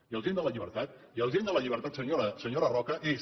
i el gen de la llibertat i el gen de la llibertat senyora roca és